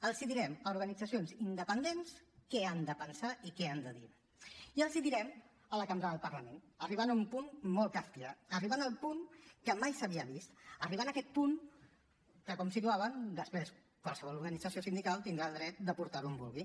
els direm a organitzacions independents què han de pensar i què han de dir i els hi direm a la cambra del parlament arribant a un punt molt kafkià arribant al punt que mai s’havia vist arribant a aquest punt que com situaven després qualsevol organització sindical tindrà el dret de portar ho on vulgui